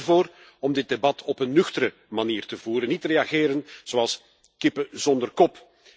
Ik pleit ervoor om dit debat op een nuchtere manier te voeren, niet te reageren zoals kippen zonder kop.